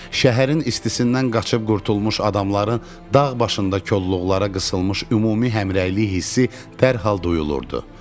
Şəhərin istisindən qaçıb qurtulmuş adamların dağ başında kolluqlara qısılmış ümumi həmrəylik hissi dərhal duyulurdu.